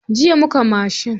Jiya muka mashin.